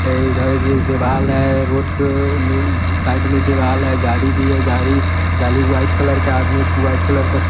इधर भी एक दीवाल है रोड के नी साइड में दीवाल है गाड़ी भी है गाड़ी गाड़ी व्हाइट कलर का आदमी व्हाइट कलर का--